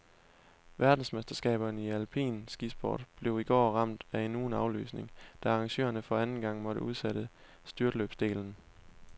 Verdensmesterskaberne i alpin skisport blev i går ramt af endnu en aflysning, da arrangørerne for anden gang måtte udsætte styrtløbsdelen.